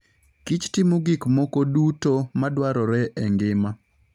kich timo gik moko duto madwarore e ngima.